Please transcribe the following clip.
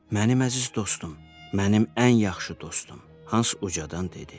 Mənim əziz dostum, mənim ən yaxşı dostum, Hans ucadan dedi.